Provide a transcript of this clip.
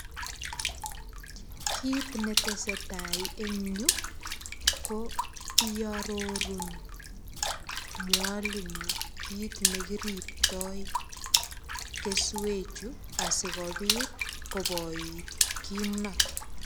Kit ne tesetai eng yu ko iarorun mwalimu kit ne kiriptoi keswechu sigopit koboit kimnot.